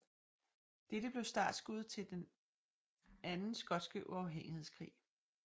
Dette blev startskuddet til den andre skotske uafhængighedskrig